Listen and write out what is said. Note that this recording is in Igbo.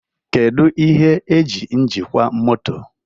Kedu ihe eji njikwa moto?